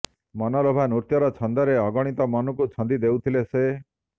ମନଲୋଭା ନୃତ୍ୟର ଛନ୍ଦରେ ଅଗଣିତ ମନକୁ ଛନ୍ଦି ଦେଉଥିଲେ ସେ